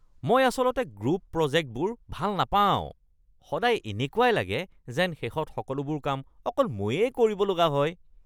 মই আচলতে গ্ৰুপ প্ৰজেক্টবোৰ ভাল নাপাওঁ; সদায় এনেকুৱাই লাগে যেন শেষত সকলোবোৰ কাম অকল ময়েই কৰিব লগা হয়।